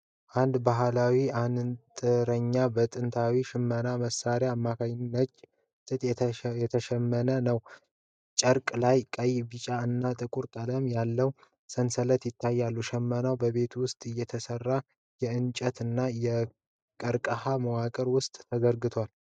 አንድ ባህላዊ አንጥረኛ በጥንታዊ ሽመና መሳሪያ አማካኝነት ነጭ ጥጥ እየሸመነ ነው። ጨርቁ ላይ ቀይ፣ ቢጫ እና ጥቁር ቀለማት ያላቸው ሰንሰለቶች ይታያሉ። ሽመናው በቤት ውስጥ የተሰራ የእንጨት እና የቀርከሃ መዋቅር ውስጥ ተዘርግቷል።